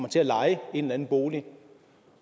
til at leje en eller anden bolig